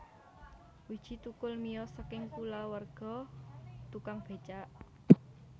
Widji Thukul miyos saking kulawarga tukang becak